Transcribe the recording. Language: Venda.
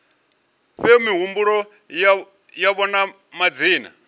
fhe mihumbulo yavho na madzina